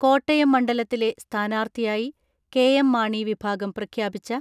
കോട്ടയം മണ്ഡലത്തിലെ സ്ഥാനാർത്ഥിയായി കെ.എം.മാണി വിഭാഗം പ്രഖ്യാപിച്ച